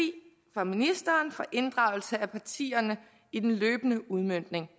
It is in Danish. fra ministeren for inddragelse af partierne i den løbende udmøntning